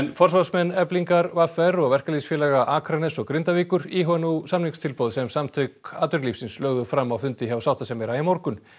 forsvarsmenn Eflingar v r og verkalýðsfélaga Akraness og Grindavíkur íhuga nú samningstilboð sem Samtök atvinnulífsins lögðu fram á fundi hjá sáttasemjara í morgun